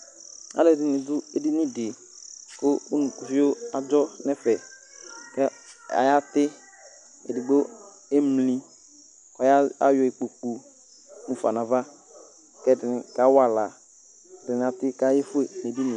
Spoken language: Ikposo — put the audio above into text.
alʊɛdɩnɩ dʊ edini dɩ kʊ unukuvio aba ɛfɛ, kʊ ayati, edigbo emli, kʊ ayɔ ikpoku mufa nʊ ava, kʊ ɛdɩnɩ kawa aɣla, kʊ ɛdɩnɩ ati kʊ ayefue nʊ edini yɛ